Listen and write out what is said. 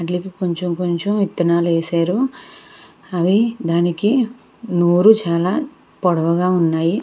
కొంచెం కొంచెం విత్తనాలు వేశారు. అవి దానికి నోరు చాలా పొడవుగా ఉన్నాయి.